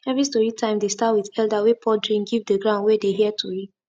every story time dey start with elder wey pour drink give the ground wey dey hear tori